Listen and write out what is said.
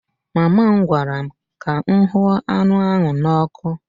Mama m gwara m ka m hụ anụ ahụ n'ọkụ